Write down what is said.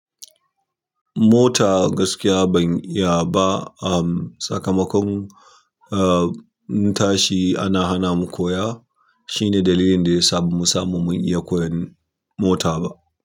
Mota gaskiya ban iya ba. Ahm, sakamakon, ah, muntashi ana hana mu koya. Shine dalilin da ya sa ba mu samu mun iya koyan mota ba.